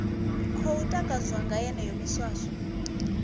khou takadzwa nga yeneyo miswaswo